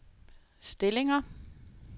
stillinger